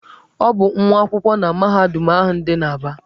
Ọ bụ nwa akwụkwọ na mahadum ahụ dị n'Aba.